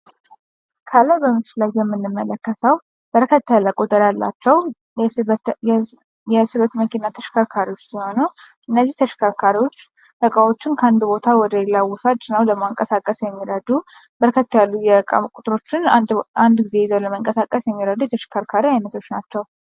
ከላይ በምስሉ ላይ የምንመለከተው በርከት ያለ ቁጥር ያላቸው የስበት መኪና ተሽከርካሪዎች ሲሆኑ እነዚህ ተሽከርካሪዎች እቃዎችን ከአንድ ቦታ ወደሌላ ቦታ ጭነው ለማንቀሳቀስ የሚረዱ በርከት ያሉ የእቃ ቁጥሮችን አንድ ጊዜ ይዞ ለመንቀሳቀስ የሚረዱ የተሽከርካሪ አይነቶች ናቸው።